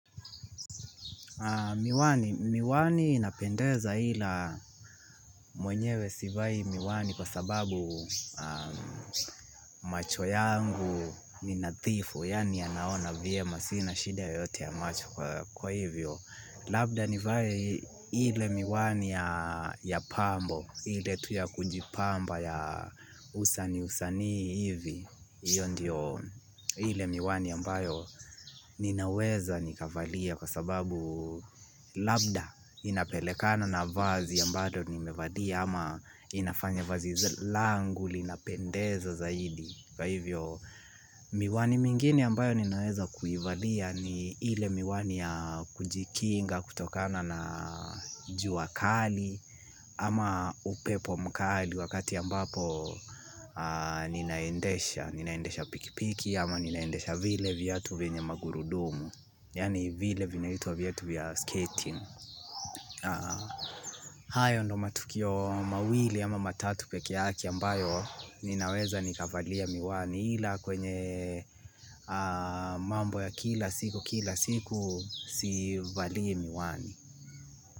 Miwani, miwani inapendeza ila mwenyewe sivai miwani kwa sababu macho yangu ni nadhifu, yaani yanaona vyema sina shida yoyote ya macho kwa hivyo. Labda nivae ile miwani ya pambo ile tu ya kujipamba ya usanii usanii hivi hiyo ndio ile miwani ambayo ninaweza nikavalia kwa sababu labda inapelekana na vazi ambalo nimevalia ama inafanya vazi langu linapendeza zaidi. Kwa hivyo miwani mingine ambayo ninaweza kuivalia ni ile miwani ya kujikinga kutokana na jua kali ama upepo mkali wakati ambapo naendesha piki piki ama ninaendesha vile viatu vyenye magurudumu yaani vile vinaitwa viatu vya skating. Hayo ndio matukio mawili ama matatu pekr yake ambayo ninaweza nikavalia miwani hila kwenye mambo ya kila siku kila siku sivalii miwani.